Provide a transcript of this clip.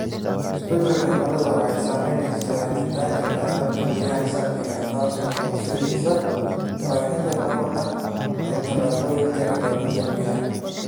Isbeddelka cimiladu waxay saameynaysaa helitaanka kheyraadka biyaha saafiga ah, taasoo horseedaysa baahida korodhka ee tallaabooyinka ilaalinta biyaha.